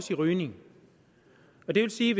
til rygning og det vil sige